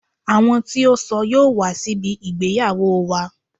Àwọn tí ó ṣọ yóò wá síbi ìgbéyàwó wa.